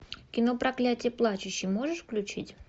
кино проклятье плачущей можешь включить